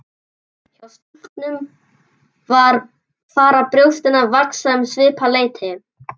Hjá stúlkum fara brjóstin að vaxa um svipað leyti.